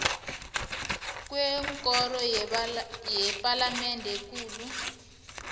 kwekoro yepalamende ekulu